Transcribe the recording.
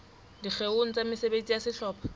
dikgeong tsa mesebetsi ya sehlopha